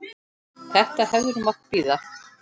Þetta hefði nú mátt bíða.